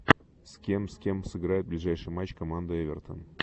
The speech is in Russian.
с кем с кем сыграет ближайший матч команда эвертон